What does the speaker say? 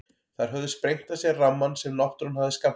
Þær höfðu sprengt af sér rammann sem náttúran hafði skammtað þeim.